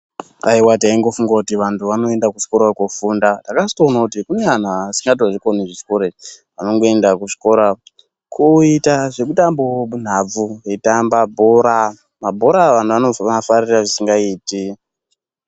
Aiwa taingofunga kuti vantu vanoenda kuzvikora kofunda takatozoona kuti kune anhu asingatozvikoni zvechikora izvi anongoenda kuzvikora koita zvekutambawo nhabvu eitamba bhora, mabhora anhu anozoafarira zvisingaiti.